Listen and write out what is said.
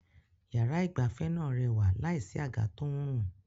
Yàrá ìgbafẹ́ náà rẹwà láìsí àga tó ń rùn.